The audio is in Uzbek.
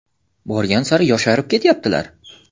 Borgan sari yosharib ketyaptilar!